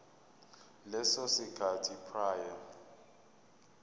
leso sikhathi prior